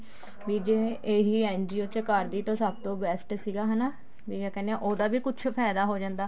ਵੀ ਜਿਵੇਂ ਇਹੀ NGO ਚ ਕਰਦੀ ਤਾਂ ਸਭ ਤੋਂ best ਸੀਗਾ ਹਨਾ ਵੀ ਕਿਆ ਕਹਿਨੇ ਹਾਂ ਉਹਦਾ ਵੀ ਕੁੱਛ ਫਾਇਦਾ ਹੋ ਜਾਂਦਾ